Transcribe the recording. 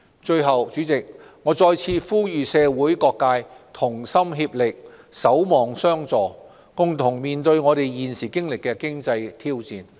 最後，主席，我再次呼籲社會各界同心協力，守望相助，共同面對現時的經濟挑戰。